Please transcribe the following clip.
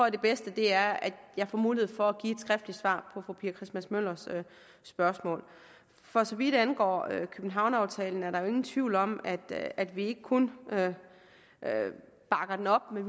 at det bedste er at jeg får mulighed for at give et skriftligt svar på fru pia christmas møllers spørgsmål for så vidt angår københavneraftalen er der jo ingen tvivl om at at vi ikke kun bakker den op men